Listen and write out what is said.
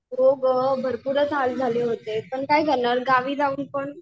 हो गं भरपूरच हाल झाले होते. पण काय करणार गावी जाऊन पण?